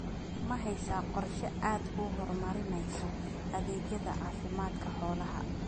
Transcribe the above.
Ma haysaa qorshe aad ku horumarinayso adeegyada caafimaadka xoolaha?